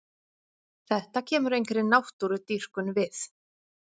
Þetta kemur engri náttúrudýrkun við.